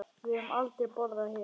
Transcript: Við höfum aldrei borðað hérna.